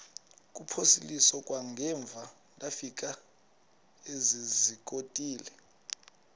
kuphosiliso kwangaemva ndafikezizikotile